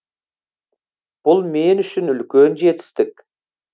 бұл мен үшін үлкен жетістік